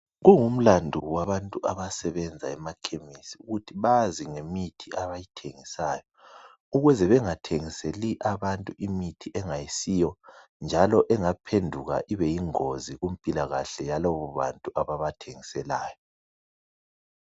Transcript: Kungumlandu wabantu abasebenza emakhemisi ukuthi bazi ngemithi abayithengisayo ukuze bengathengiseli abantu imithi engasiyo njalo engaphenduka ibe yingozi kumpilakahle yalabo bantu ababathengiselayo